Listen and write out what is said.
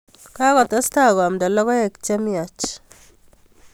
Kokotestai koamnda logoek che mye